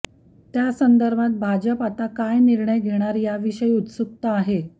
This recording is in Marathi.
त्यासंदर्भात भाजप आता काय निर्णय घेणार याविषयी उत्सुकता आहे